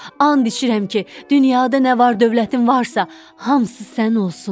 And içirəm ki, dünyada nə var dövlətin varsa, hamısı sənin olsun.